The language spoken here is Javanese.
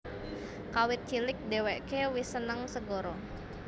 Kawit cilik dheweke wis seneng segara